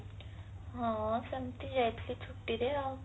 ହଁ ସେମିତି ଯାଇଥିଲି ଛୁଟିରେ ଆଉ